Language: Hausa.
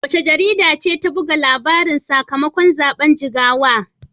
Wace jarida ce ta buga labarin sakamakon zaben Jigawa?